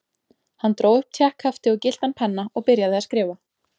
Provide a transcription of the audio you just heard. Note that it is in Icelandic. Hann dró upp tékkhefti og gylltan penna og byrjaði að skrifa.